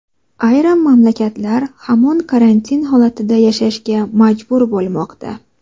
Ayrim mamlakatlar hamon karantin holatida yashashga majbur bo‘lmoqda.